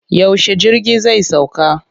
Yaushe jirgi zai sauka?